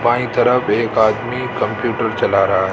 By तरफ एक आदमी कंप्यूटर चला रहा है।